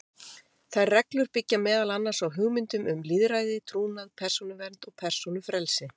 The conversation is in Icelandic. Þær reglur byggja meðal annars á hugmyndum um lýðræði, trúnað, persónuvernd og persónufrelsi.